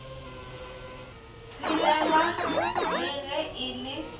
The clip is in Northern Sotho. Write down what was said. tshelela le ge e le